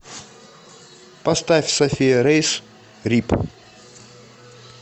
поставь софия рейс р и п